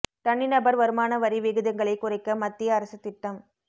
தனி நபர் வருமான வரி விகிதங்களை குறைக்க மத்திய அரசு திட்டம்